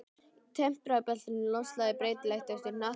Í tempraða beltinu er loftslagið breytilegt eftir hnattstöðu.